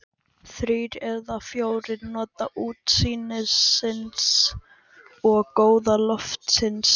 Þrír eða fjórir njóta útsýnisins og góða loftsins.